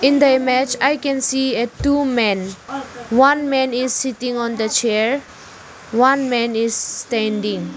in the image i can see a two men one man is sitting on the chair one man is standing.